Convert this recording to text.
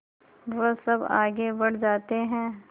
वह सब आगे बढ़ जाते हैं